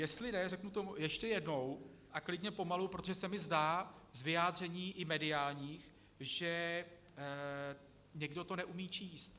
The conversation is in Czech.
Jestli ne, řeknu to ještě jednou a klidně pomalu, protože se mi zdá z vyjádření i mediálních, že někdo to neumí číst.